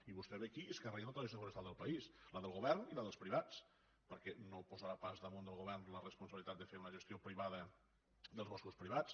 i vostè ve aquí i es carrega tota la gestió forestal del país la del govern i la dels privats perquè no posarà pas damunt del govern la responsabilitat de fer una gestió privada dels boscos privats